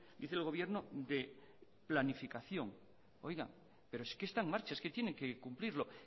dice el gobierno de planificación oiga pero es que está en marcha es que tiene que cumplirlo